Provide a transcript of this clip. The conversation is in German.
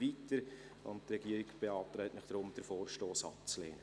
Die Regierung beantragt Ihnen daher, diesen Vorstoss abzulehnen.